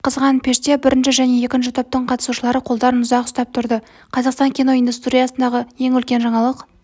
қызған пеште бірінші және екінші топтың қатысушылары қолдарын ұзақ ұстап тұрды қазақстан киноиндустриясындағы ең үлкен жаңалық